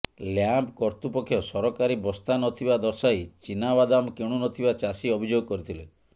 lamp କର୍ତ୍ତୃପକ୍ଷ ସରକାରୀ ବସ୍ତା ନଥିବା ଦର୍ଶାଇ ଚିନାବାଦାମ କିଣୁନଥିବା ଚାଷୀ ଅଭିଯୋଗ କରିଥିଲେ